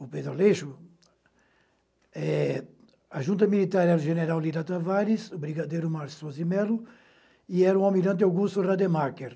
O Pedro Aleixo, eh, a junta militar era o general Lira Tavares, o brigadeiro Márcio Sozimelo, e era o almirante Augusto Rademacher.